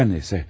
Hər nəysə.